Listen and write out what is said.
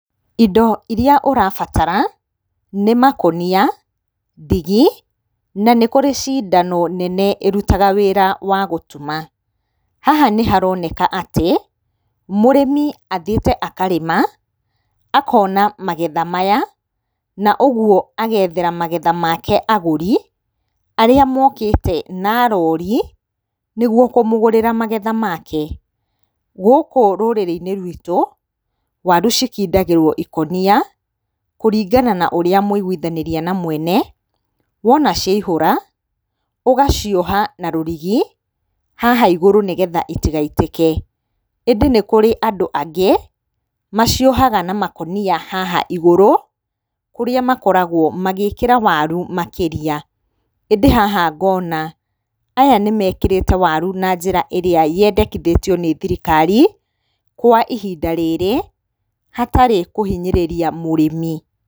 Indo iria ũrabatara nĩ makũnia, ndigi na nĩ kũrĩ cindano nene ĩrutaga wĩra wa gũtuma. Haha nĩ haroneka atĩ, mũrĩmi athiĩte akarĩma akona magetha maya ma ũguo agethera magetha make agũri arĩa mokĩte na rori nĩ guo kũmũgũrĩra magetha make. Gũkũ rũrĩrĩ-inĩ rwitũ, waru cikindagĩrwo ikũnia kũringana na ũrĩa mwaiguthanĩria na mwene wona ciaihũra ũgacioha na rũrigi, haha igũrũ nĩ getha itigaitĩke. ĩndĩ nĩ kũrĩ andũ angĩ maciohaga na makũnia haha igũrĩ, kũrĩa makoragwo magĩĩkĩra waru makĩria. ĩndĩ haha ngona aya nĩ mekĩrĩte waru na njĩra ĩrĩa yendekithĩtio nĩ thirikari kwa ihinda rĩrĩ hatarĩ kũhinyĩrĩria mũrĩmi.